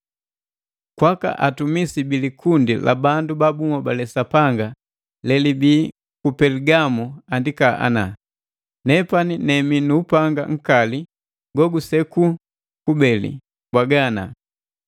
“Kwaka ntumisi bi likundi la bandu ba bunhobale Sapanga lelibii ku Peligamo andika ana.” “Nepani nemii nu upanga nkali go guseku kubeli mbwaga ana: